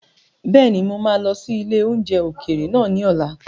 Bẹ́ẹ̀ni, mo máa lọ sí ilé oúnjẹ ókéré naa ni ọ̀la